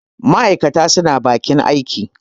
ma' aikata suna bakin aiki